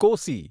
Kosi